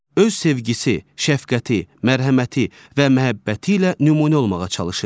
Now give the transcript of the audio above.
Öz sevgisi, şəfqəti, mərhəməti və məhəbbəti ilə nümunə olmağa çalışır.